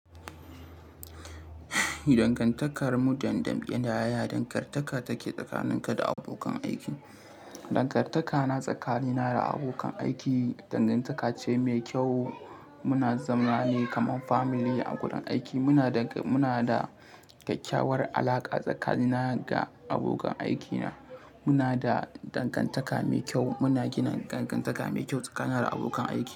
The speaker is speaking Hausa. Dangantakar mu dam dambe da yaya dangantaka take tsakanin ka da abokan aiki? Dangantaka na tsakani na da abokan aiki dangantaka ce mai kyau. Muna zamana ne kamar family a gudun aiki muna da, muna da kyakkyawar alaƙa tsakanina da abokan aikina. Muna da dangantaka mai kyau muna gina dangantaka mai kyau tsakanin da abokan aiki.